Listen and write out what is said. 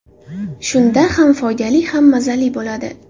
Shunda ham foydali, ham mazali bo‘ladi.